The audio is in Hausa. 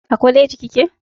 A kwaleji kike?